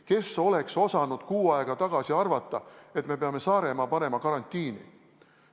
Kes oleks osanud kuu aega tagasi arvata, et me peame Saaremaa panema karantiini.